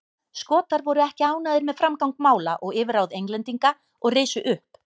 Skotar voru ekki ánægðir með framgang mála og yfirráð Englendinga og risu upp.